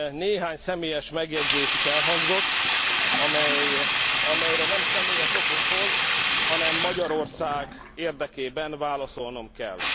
Néhány személyes megjegyzés is elhangzott, amelyekre nem személyes okokból, hanem Magyarország érdekében válaszolnom kell.